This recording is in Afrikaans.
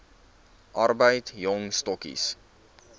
arbeid jong stokkies